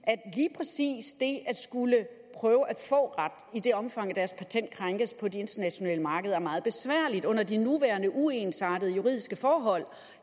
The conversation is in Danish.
at skulle prøve at få ret i det omfang deres patent krænkes på de internationale markeder er meget besværligt under de nuværende uensartede juridiske forhold